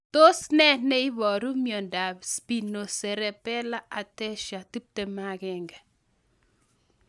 Tos nee neiparu miondop Spinocerebellar ataxia 21?